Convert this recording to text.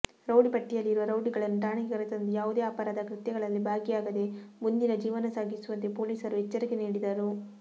rowdy ಪಟ್ಟಿಯಲ್ಲಿರುವ ರೌಡಿಗಳನ್ನು ಠಾಣೆಗೆ ಕರೆತಂದು ಯಾವುದೇ ಅಪರಾಧ ಕೃತ್ಯಗಳಲ್ಲಿ ಭಾಗಿಯಾಗದೆ ಮುಂದಿನ ಜೀವನ ಸಾಗಿಸುವಂತೆ ಪೊಲೀಸರು ಎಚ್ಚರಿಕೆ ನೀಡಿದರು